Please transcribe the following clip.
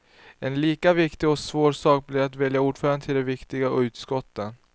En lika viktig och svår sak blir att välja ordförande till de viktiga utskotten.